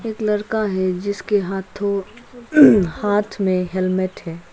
लड़का है जिसके हाथों हाथ में हेलमेट है।